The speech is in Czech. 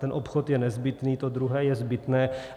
Ten obchod je nezbytný, to druhé je zbytné.